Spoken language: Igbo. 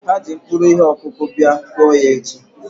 Ha ji mkpụrụ ihe ọkụkụ bia, kụọ ya echi!